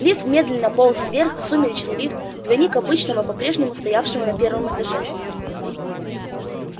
лифт медленно полз вверх сумеречный лифт двойник обычного попрежнему стоявшего на первом этаже